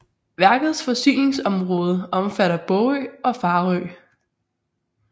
Værkets forsyningsområde omfatter Bogø og Farø